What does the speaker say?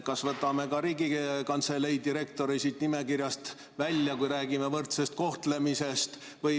Kas võtame ka Riigikantselei direktori siit nimekirjast välja, kui räägime võrdsest kohtlemisest?